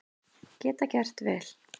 Geta gert vel